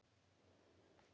Ólíkt þér.